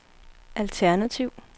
alternativ